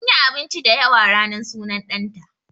Sunyi abinci da yawa ranar sunan ɗan ta